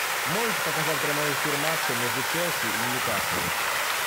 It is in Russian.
можешь показать прямой эфир матча между челси и ньюкасл